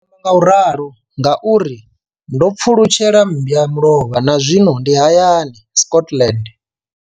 Ndi amba ngauralo nga uri ndo pfulutshela mmba mulovha na zwino ndi hayani, Scotland.